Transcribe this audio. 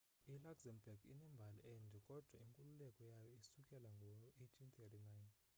iluxembourg inembali ende kodwa inkululeko yayo isukela ngo-1839